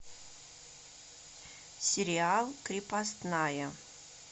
сериал крепостная